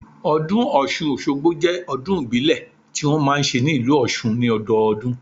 Ọdún Ọ̀ṣun Òṣogbo jẹ́ ọdún ìbílẹ̀ ti wọn máa ń ṣe ní ìlú Òṣun ni ọdọọdún